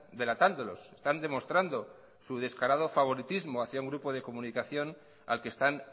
delatándolos están demostrando su descarado favoritismo hacia un grupo de comunicación al que están